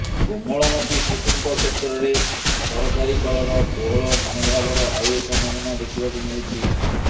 କୋମଳମତି ଶିଶୁଙ୍କ କ୍ଷେତ୍ରରେ ସରକାରୀ କଳର କୋହଳ ମନୋଭାବର ଆଉ ଏକ ନମୁନା ଦେଖିବାକୁ ମିଳିଛି